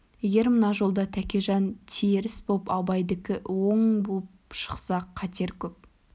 егер мына жолда тәкежан теріс боп абайдікі оң боп шықса қатер көп